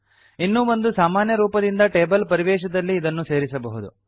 ಇನ್ನೂ ಒಂದು ಸಾಮಾನ್ಯರೂಪದಿಂದ ಟೇಬಲ್ ಪರಿವೇಶದಲ್ಲಿ ಇದನ್ನು ಸೇರಿಸಬಹುದು